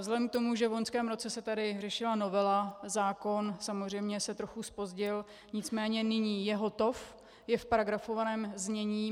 Vzhledem k tomu, že v loňském roce se tady řešila novela, zákon samozřejmě se trochu zpozdil, nicméně nyní je hotov, je v paragrafovaném znění.